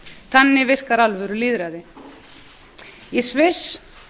þannig virkar alvöru lýðræði í sviss